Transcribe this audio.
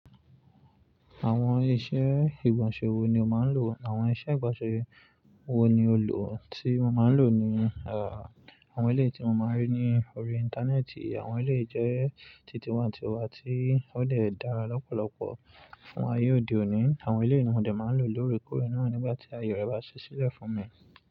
Àwọn iṣẹ́ ìgbọ̀nsẹ̀ wo ni o máa ń lò àwọn iṣẹ́ ìgbọ̀nsẹ̀ wo ni o lò tí mo máa ń lò ni àwọn eléyi tí mo máa ń rí ní orí Íńtánẹ́ẹ̀tì. Àwọn eléyi jẹ́ titi wa titi wa tí ó lè dára lọ́pọ̀lọpọ̀ fún ayé òde òní. Àwọn eléyìí ni mo dè máa ń lò lóre kóre náà nígbà tí àyò rẹ̀ bá ṣẹ́ sílẹ̀ fún mi.